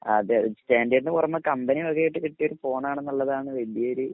അതെ സ്റ്റാൻഡേർഡിന് പുറമെ കമ്പനി വക ആയിട്ടത് കിട്ടിയ ഫോണാണ് എന്നുള്ളതാണ് വലിയൊരു